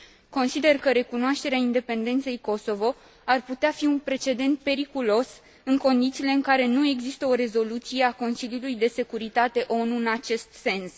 Consider că recunoașterea independenței Kosovo ar putea fi un precedent periculos, în condițiile în care nu există o rezoluție a Consiliului de securitate ONU în acest sens.